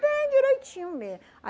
Bem direitinho mesmo.